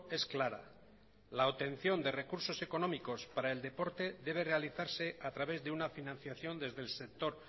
es clara la obtención de recursos económicos para el deporte debe realizarse a través de una financiación desde el sector